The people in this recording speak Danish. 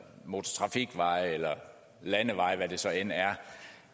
motortrafikveje eller landeveje hvad det så end er